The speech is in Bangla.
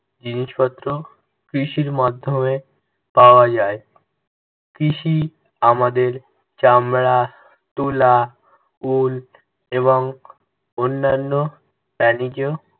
জিনিসপত্র কৃষির মাধ্যমে পাওয়া যায়। কৃষি আমাদের চামড়া, তুলা, Wool এবং অন্যান্য বাণিজ